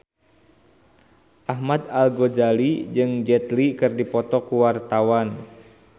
Ahmad Al-Ghazali jeung Jet Li keur dipoto ku wartawan